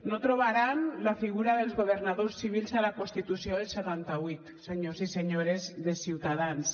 no trobaran la figura dels governadors civils a la constitució del setanta vuit senyors i senyores de ciutadans